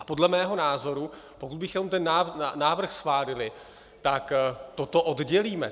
A podle mého názoru, pokud bychom ten návrh schválili, tak toto oddělíme.